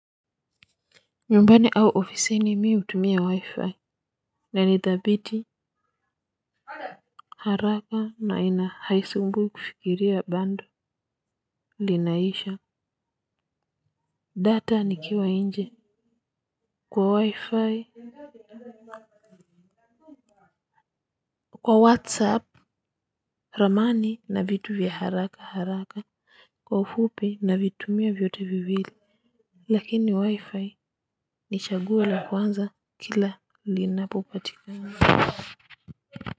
Nyumbani au oficini mimi hutumia wi-fi na nithabiti haraka na ina haisumbui kufikiria bundle linaisha data ni kiwa nje. Kwa wi-fi kwa whatsapp ramani na vitu vya haraka haraka kwa ufupi na vitumia vyote viwili. Lakini wi-fi ni chaguo la kwanza kila linapopatikana.